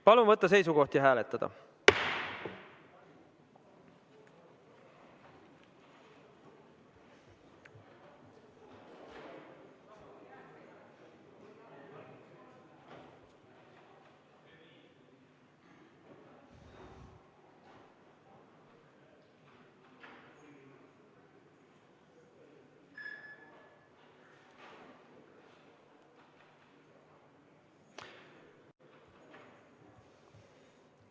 Palun võtta seisukoht ja hääletada!